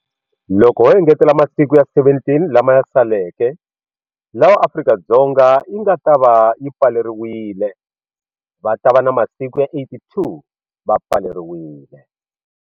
Loko ho engetela masiku ya 17 lama ya saleke lawa Afrika-Dzonga yi nga ta va yi pfaleriwile va ta va na masiku ya 82 va pfaleriwile.